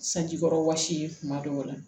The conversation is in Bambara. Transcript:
Sanji kɔrɔ wɔsi ye kuma dɔw la